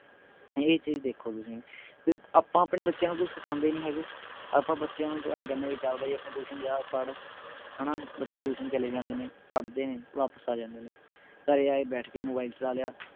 ਇਹ ਚੀਜ ਦੇਖੋ ਤੁਸੀਂ ਵੀ ਆਪਾਂ ਆਪਣੇ ਬੱਚਿਆਂ ਨੂੰ ਕੁਛ ਸਿਖਾਂਦੇ ਨਹੀਂ ਹੈਗੇ ਆਪਾਂ ਬੱਚਿਆਂ ਨੂੰ ਆਏਂ ਕਹਿਣੇ ਵੀ ਚੱਲ ਬਈ ਆਪਣੇ tuition ਜਾ ਪੜ੍ਹ ਹਣਾ ਬੱਚੇ tuition ਚਲੇ ਜਾਂਦੇ ਨੇ ਪੜ੍ਹਦੇ ਨੇ ਵਾਪਿਸ ਆ ਜਾਂਦੇ ਨੇ ਘਰੇ ਆਏ ਬੈਠ ਕੇ mobile ਚਲਾ ਲਿਆ